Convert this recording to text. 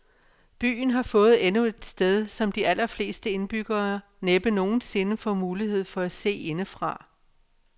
Byen har fået endnu et sted, som de allerfleste indbyggere næppe nogen sinde får mulighed for at se indefra.